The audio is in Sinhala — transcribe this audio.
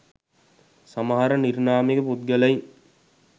සමහර නිර්නාමික පුද්ගලයින්